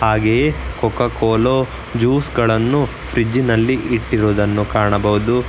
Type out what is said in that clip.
ಹಾಗೆಯೇ Coca Cola juice ಗಳನ್ನು fridge ನಲ್ಲಿ ಇಟ್ಟಿರುವುದು ಕಾಣಬಹುದು.